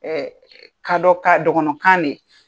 kadɔ ka dɔgɔnɔ kan de ye.